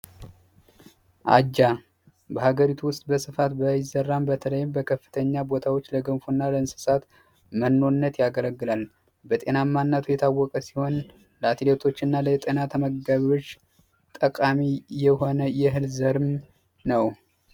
አጃ በሀገሪቱ ውስጥ በስፋት ባይዘራም በተለይም በከፍተኛ ቦታዎች ለገንፎ እና ለእንሰሳት መኖነት ያገለግላል። በጤናማነቱ የታወቀ ሲሆን ለአትሌቶች እና ለተመጋቢዎች ጠቃሚ የሆነ የእህል ዘርም ነው።